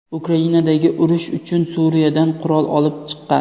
Ukrainadagi urush uchun Suriyadan qurol olib chiqqan.